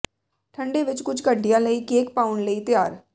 ਠੰਡੇ ਵਿਚ ਕੁਝ ਘੰਟਿਆਂ ਲਈ ਕੇਕ ਪਾਉਣ ਲਈ ਤਿਆਰ